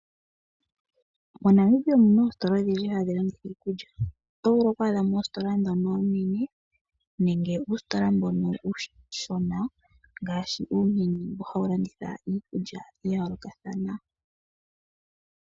MoNamibia omuna oostola odhindji dhokulanditha iikulya .oto vulu oku adhamo oostola ndhono oonene nenge uustola mbono uushona ngaashi uumini mbono hawulanditha iikulya yayooloka thana